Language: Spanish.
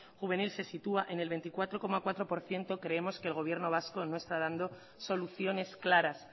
juvenil se sitúa en el veinticuatro coma cuatro por ciento creemos que el gobierno vasco no está dando soluciones claras